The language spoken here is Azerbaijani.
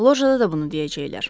Lojada da bunu deyəcəklər.